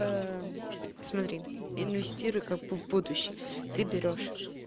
смотри инвестируй как бы в будущее ты берёшь